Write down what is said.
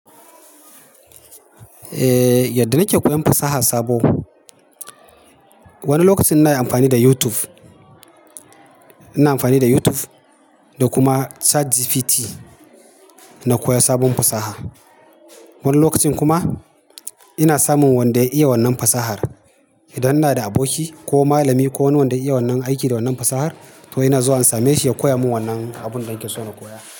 Eh yadda nike koyan fasaha sabo, wani lokacin ina amfani da YouTube. Ina amfani da YouTube da kuma ChatGPT na koya sabon fasaha. Wani lokacin kuma ina samun wanda ya iya wannan fasahar. Idan ina da aboki ko malami ko wani wanda ya iya wannan aiki da wannan fasahar to ina zuwa in same shi ya koya min wannan abun da nake so na koya.